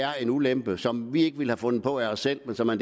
er en ulempe som vi ikke ville have fundet på af os selv men som er